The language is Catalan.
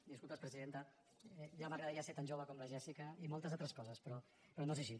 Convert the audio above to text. disculpes presidenta ja m’agradaria ser tan jove com la jéssica i moltes altres coses però no és així